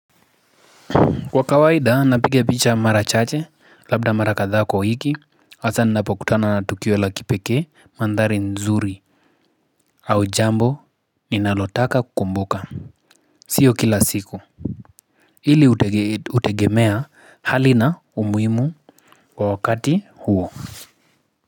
Kwa kawaida napiga picha mara chache labda mara kadhaa kwa hiki hasa ninapokutana na tukio la kipeke mandhari nzuri au jambo ninalotaka kukumbuka sio kila siku hili utegemea hali na umuhimu kwa wakati huo.